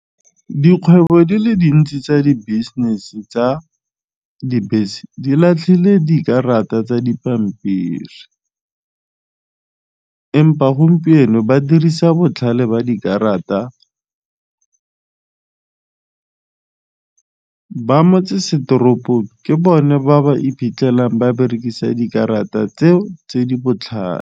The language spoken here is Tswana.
Dikgwebo di le dintsi tsa di business tsa dibese di latlhile dikarata tsa dipampiri empa gompieno ba dirisa botlhale ba dikarata ba motsesetoropo ke bone ba ba iphitlhelang ba berekisa dikarata tseo tse di botlhale.